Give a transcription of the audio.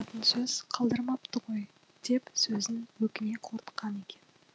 сөз қалдырмапты ғой деп сөзін өкіне қорытқан екен